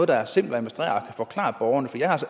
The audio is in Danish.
være simplere at forklare borgerne for jeg har